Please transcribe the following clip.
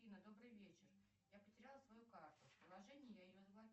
афина добрый вечер я потеряла свою карту в приложении я ее